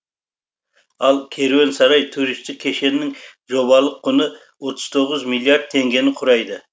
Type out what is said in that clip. ал керуен сарай туристік кешеннің жобалық құны отыз тоғыз миллиард теңгені құрайды